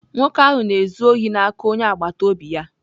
Nwoke ahụ na-ezu ohi n'aka onye agbata obi ya.